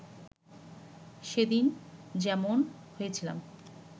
সেদিন যেমন হয়েছিলাম